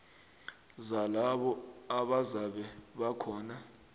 zalabo abazabe bakhona